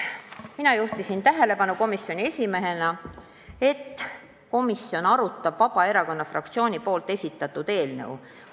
Mina juhtisin komisjoni esimehena tähelepanu sellele, et komisjon arutab Vabaerakonna fraktsiooni esitatud eelnõu.